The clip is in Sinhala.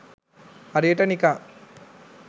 හරියට නිකන්